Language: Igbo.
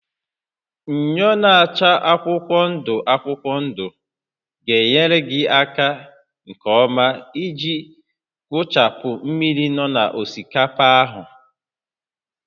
Myọ na-acha akwụkwọ ndụ akwụkwọ ndụ ga-enyere gị aka nke ọma iji gụchapụ mmiri na osikapa ahụ